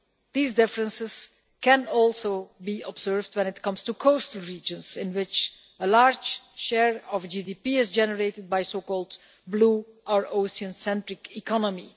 These differences can also be observed when it comes to coastal regions, in which a large share of GDP is generated by the blue or ocean centric economy.